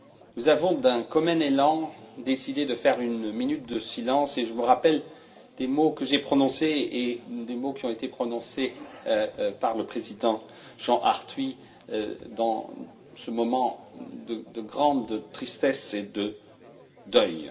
Nous avons d'un commun élan décidé de faire une minute de silence et je me rappelle des mots que j'ai prononcés et des mots qui ont été prononcés par le président, Jean Arthuis, en ce moment de grande tristesse et de deuil.